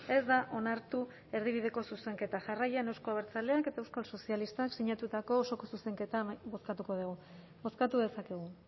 ez da onartu erdibideko zuzenketa jarraian euzko abertzaleak eta euskal sozialistak sinatutako osoko zuzenketa bozkatuko dugu bozkatu dezakegu